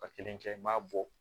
Ka kelen kɛ n b'a bɔ